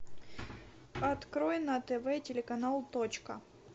открой на тв телеканал точка